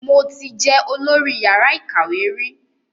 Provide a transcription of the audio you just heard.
Mo ti jẹ olọ́rí yàrá ìkàwé rí